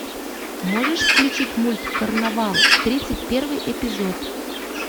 можешь включить мульт карнавал тридцать первый эпизод